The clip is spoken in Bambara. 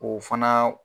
O fana